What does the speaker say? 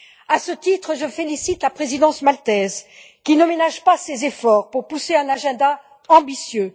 À ce titre, je félicite la présidence maltaise qui ne ménage pas ses efforts pour pousser un agenda ambitieux.